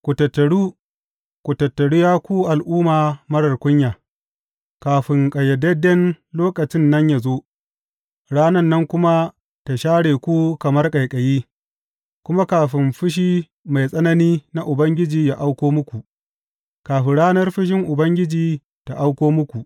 Ku tattaru, ku tattaru, Ya ku al’umma marar kunya, kafin ƙayyadadden lokacin nan yă zo ranan nan kuma ta share ku kamar ƙaiƙayi kuma kafin fushi mai tsanani na Ubangiji yă auko muku, kafin ranar fushin Ubangiji ta auko muku.